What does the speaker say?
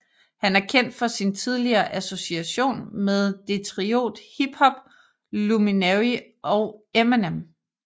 Han er kendt for sin tidigere association med Detriot hip hop luminary og Eminem